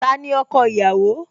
Tani ọkọ ìyàwó?